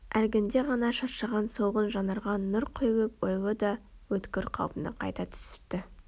Әлгінде ғана шаршаған солғын жанарға нұр құйылып ойлы да өткір қалпына қайта түсіпті